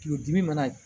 Tulodimi mana